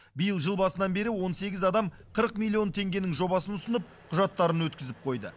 биыл жыл басынан бері он сегіз адам қырық миллион теңгенің жобасын ұсынып құжаттарын өткізіп қойды